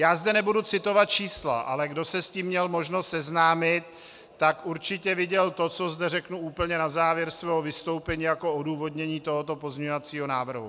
Já zde nebudu citovat čísla, ale kdo se s tím měl možnost seznámit, tak určitě viděl to, co zde řeknu úplně na závěr svého vystoupení jako odůvodnění tohoto pozměňovacího návrhu.